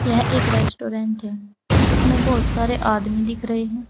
यह एक रेस्टोरेंट है जिसमें बहोत सारे आदमी दिख रहे हैं।